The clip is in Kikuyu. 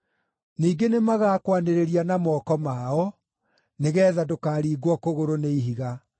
ningĩ nĩmagakwanĩrĩria na moko mao, nĩgeetha ndũkaringwo kũgũrũ nĩ ihiga.’ ”